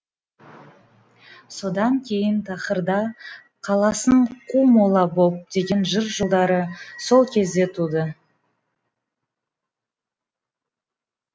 содан кейін тақырда қаласың қу мола боп деген жыр жолдары сол кезде туды